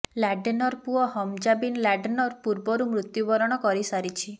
ଲାଡେନର ପୁଅ Hamza bin ଲାଡେନର ପୂର୍ବରୁ ମୃତ୍ୟୁ ବରଣ କରି ସାରିଛି